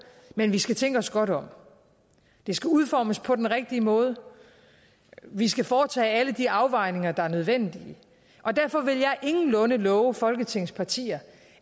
men vi skal tænke os godt om det skal udformes på den rigtige måde og vi skal foretage alle de afvejninger der er nødvendige derfor vil jeg ingenlunde love folketingets partier